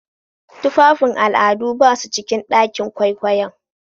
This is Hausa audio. Tufafin al'adu ba su cikin ɗakin kwaikwayon.